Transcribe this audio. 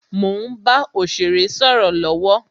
Mo ń bá òsèré sọ̀rọ̀ lọwọ